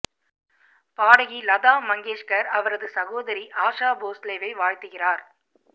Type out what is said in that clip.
பாடகி லதா மங்கேஷ்கர் அவரது சகோதரி ஆஷா போஸ்லேவை வாழ்த்துகிறார்